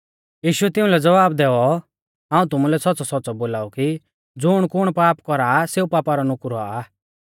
यीशुऐ तिउंलै ज़वाब दैऔ हाऊं तुमुलै सौच़्च़ौसौच़्च़ौ बोलाऊ कि ज़ुणकुण पाप कौरा सेऊ पापा रौ नुकुर औआ